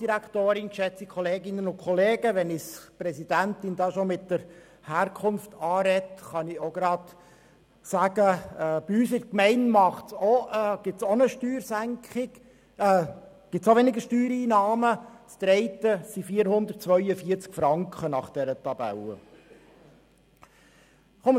Wenn uns die Präsidentin schon bezüglich unserer Herkunft anspricht, kann ich zu unserer Gemeinde sagen, dass diese gemäss dieser Tabelle auch weniger Steuereinnahmen erhalten wird, nämlich 442 Franken.